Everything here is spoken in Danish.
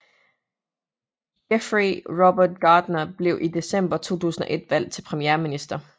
Geoffrey Robert Gardner blev i december 2001 valgt til premierminister